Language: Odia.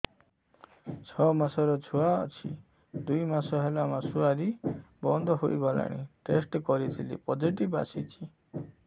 ଛଅ ମାସର ଛୁଆ ଅଛି ଦୁଇ ମାସ ହେଲା ମାସୁଆରି ବନ୍ଦ ହେଇଗଲାଣି ଟେଷ୍ଟ କରିଥିଲି ପୋଜିଟିଭ ଆସିଛି